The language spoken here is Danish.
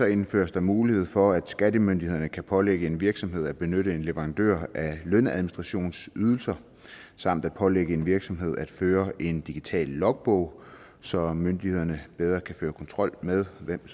indføres der mulighed for at skattemyndighederne kan pålægge en virksomhed at benytte en leverandør af lønadministrationsydelser samt at pålægge en virksomhed at føre en digital logbog så myndighederne bedre kan føre kontrol med hvem